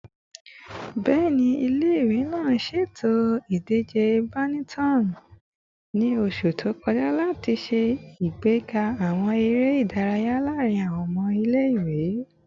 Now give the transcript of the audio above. Bẹẹni, ile-iwe naa ṣeto idije badminton ni oṣu to kọja lati ṣe agbega awọn ere idaraya laarin awọn ọmọ ile-iwe